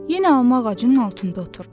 Yenə alma ağacının altında oturdu.